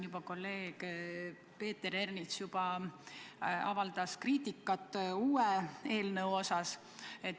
Kolleeg Peeter Ernits juba avaldas kriitikat uue eelnõu kohta.